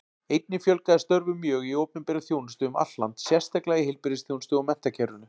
Einnig fjölgaði störfum mjög í opinberri þjónustu um allt land, sérstaklega í heilbrigðisþjónustu og menntakerfinu.